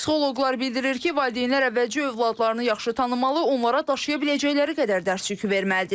Psixoloqlar bildirir ki, valideynlər əvvəlcə övladlarını yaxşı tanımalı, onlara daşıya biləcəkləri qədər dərs yükü verməlidirlər.